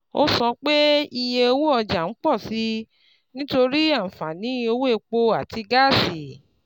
Ó sọ pé iye owó ọjà ń pọ̀ sí i nítorí àǹfààní owó epo àti gáàsì.